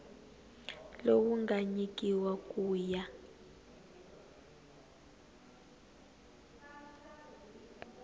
lowu nga nyikiwa ku ya